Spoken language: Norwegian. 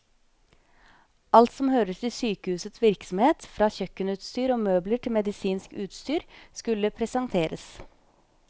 Alt som hører til sykehusets virksomhet, fra kjøkkenutstyr og møbler til medisinsk utstyr, skulle presenteres.